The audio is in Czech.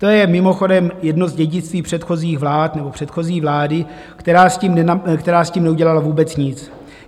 To je mimochodem jedno z dědictví předchozích vlád, nebo předchozí vlády, která s tím neudělala vůbec nic.